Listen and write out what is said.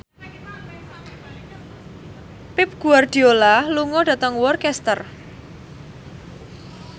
Pep Guardiola lunga dhateng Worcester